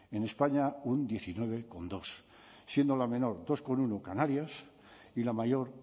en españa un diecinueve coma dos siendo la menor dos coma uno canarias y la mayor